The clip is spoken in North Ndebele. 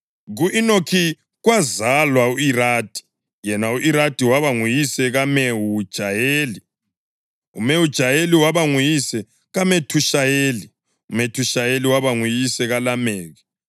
Ku-Enoki kwazalwa u-Iradi, yena u-Iradi waba nguyise kaMehujayeli, uMehujayeli waba nguyise kaMethushayeli, uMethushayeli waba nguyise kaLameki.